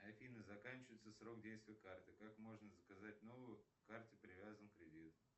афина заканчивается срок действия карты как можно заказать новую к карте привязан кредит